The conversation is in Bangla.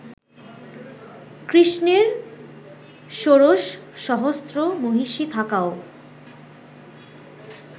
কৃষ্ণের ষোড়শ সহস্র মহিষী থাকাও